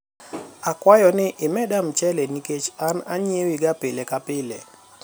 akwayo ni imeda mchele nikech an anyiewi ga pile ka plie